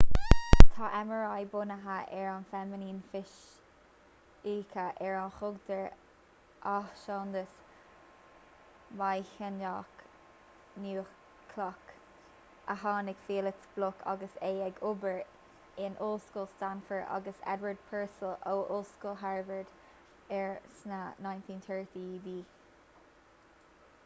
tá mri bunaithe ar feiniméan fisice ar a thugtar athshondas maighnéadach núicléach nmr a tháinig felix bloc agus é ag obair in ollscoil stanford agus edward purcell ó ollscoil harvard air sna 1930idí